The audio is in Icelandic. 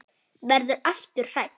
Verður aftur hrædd.